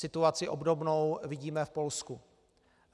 Situaci obdobnou vidíme v Polsku.